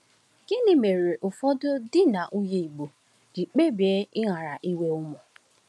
Gịnị mere ụfọdụ di na nwunye Igbo ji kpebie ịghara inwe ụmụ?